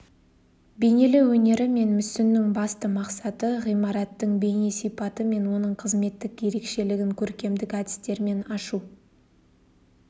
бейнелеу өнері мен мүсіннің басты мақсаты ғимараттың бейне сипаты мен оның қызметтік ерекшілігін көркемдік әдістермен ашу